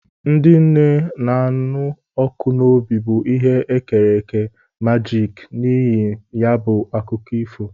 Ndị nne na-anụ ọkụ n'obi bụ ihe e kere eke majiki n'ihi ya bụ akụkọ ifo.